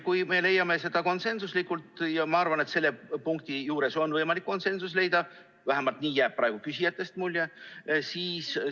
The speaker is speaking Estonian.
Kui me leiame seda konsensuslikult, ja ma arvan, et selle punkti juures on võimalik konsensus leida, vähemalt nii jääb praegu küsijatest mulje, siis tuld.